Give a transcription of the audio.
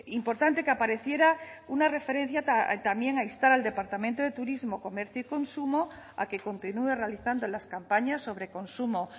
importante que apareciera una referencia a también a instar al departamento de turismo comercio y consumo a que continúe realizando las campañas sobre consumo